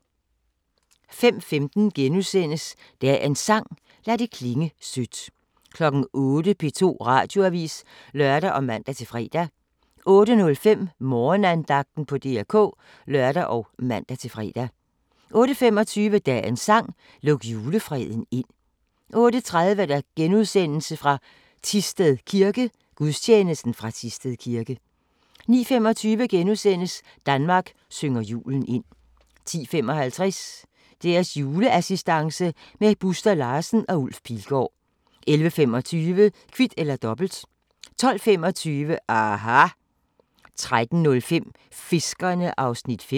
05:15: Dagens sang: Lad det klinge sødt * 08:00: P2 Radioavis (lør og man-fre) 08:05: Morgenandagten på DR K (lør og man-fre) 08:25: Dagens sang: Luk julefreden ind 08:30: Gudstjeneste fra Thisted kirke * 09:25: Danmark synger julen ind * 10:55: Deres juleassistance med Buster Larsen og Ulf Pilgaard 11:25: Kvit eller Dobbelt 12:25: aHA! 13:05: Fiskerne (5:6)